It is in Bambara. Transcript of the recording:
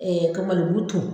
Ɛɛ ka malo ton